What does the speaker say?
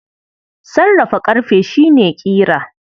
Sarrafa ƙarfe shi ne ƙira.